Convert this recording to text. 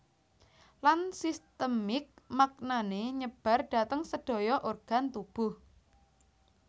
Lan sistemik maknane nyebar dhateng sedaya organ tubuh